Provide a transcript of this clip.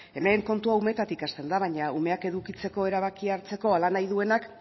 hemen kontua umeetatik hasten da baina umeak edukitzeko erabakia hartzeko hala nahi duenak